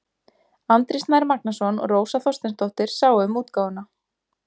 Andri Snær Magnason og Rósa Þorsteinsdóttir sáu um útgáfuna.